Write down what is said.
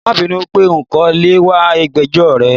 Mabinú wípé nko leè wa ìgbẹ́jọ́ rẹ